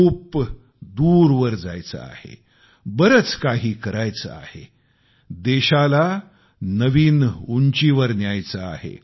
खूप दूरवर जायचे आहे बरेच काही करायचे आहे देशाला नवीन उंचीवर न्यायचे आहे